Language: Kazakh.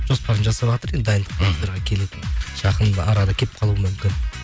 жоспарын жасаватыр енді дайындық келетін жақын арада келіп қалуы мүмкін